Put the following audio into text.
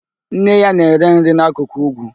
Nne ya na-ere nri n'akụkụ úgwú.